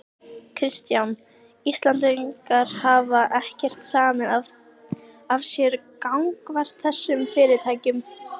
Kristján: Íslendingar hafa ekkert samið af sér gagnvart þessum fyrirtækjum?